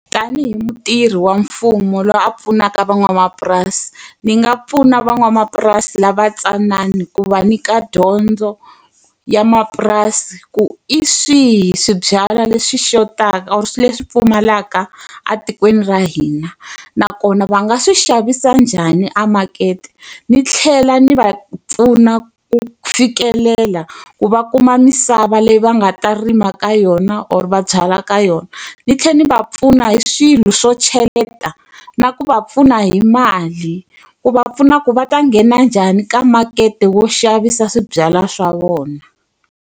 Tanihi mutirhi wa mfumo loyi a pfunaka van'wamapurasi, ndzi nga pfuna van'wamapurasi lava ntsanana ku va nyika dyondzo ya mapurasi ku hi swihi swibyalwa leswi xotaka leswi pfumalaka etikweni ra hina. Nakona va nga swi xavisa njhani a makete, ndzi tlhela ndzi va pfuna ku fikelela ku va kuma misava leyi va nga ta rima ka yona or va byala ka yona. Ndzi tlhela ndzi va pfuna hi swilo swo cheleta na ku va pfuna hi mali. Ku va pfuna ku va ta nghena njhani ka makete wo xavisa swibyalwa swa vona.